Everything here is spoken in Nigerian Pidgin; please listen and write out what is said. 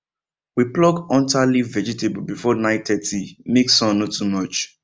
we pluck hunter leaf vegetable before 930 make sun no too hot